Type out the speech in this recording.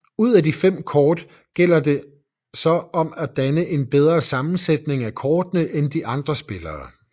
Ud af de fem kort gælder det så om at danne en bedre sammensætning af kortene end de andre spillere